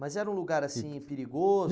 Mas era um lugar assim perigoso?